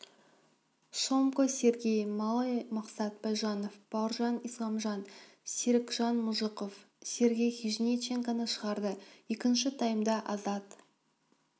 шомко сергей малый мақсат байжанов бауыржан исламіан серікжан мұжықов сергей хижниченконы шығарды екінші таймда азат